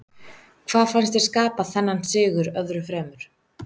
Hvað fannst þér skapa þennan sigur öðru fremur?